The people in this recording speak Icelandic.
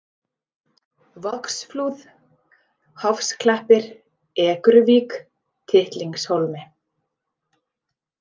Vogsflúð, Hofsklappir, Ekruvík, Tittlingshólmi